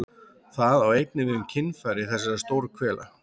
Það á einnig við um kynfæri þessar stórhvela.